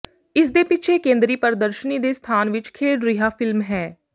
ਇਸਦੇ ਪਿੱਛੇ ਕੇਂਦਰੀ ਪ੍ਰਦਰਸ਼ਨੀ ਦੇ ਸਥਾਨ ਵਿੱਚ ਖੇਡ ਰਿਹਾ ਫਿਲਮ ਹੈ